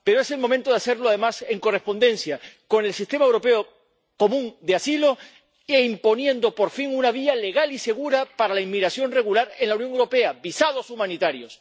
Pero es el momento de hacerlo, además, en correspondencia con el sistema europeo común de asilo e imponiendo, por fin, una vía legal y segura para la inmigración regular en la Unión Europea visados humanitarios.